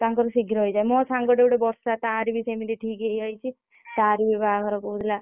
ତାଙ୍କର ଶୀଘ୍ର ହେଇଯାଏ ମୋ ସାଙ୍ଗଟେ ଗୋଟେ ବର୍ଷା ତାର ବି ସେମିତି ଠିକ ହେଇଯାଇଛି ତାର ବି ବାହାଘର କହୁଥିଲା।